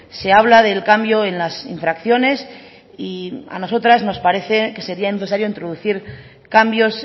se habla del cambio en las infracciones y a nosotras nos parece que sería necesario introducir cambios